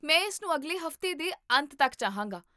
ਮੈਂ ਇਸ ਨੂੰ ਅਗਲੇ ਹਫ਼ਤੇ ਦੇ ਅੰਤ ਤੱਕ ਚਾਹਾਂਗਾ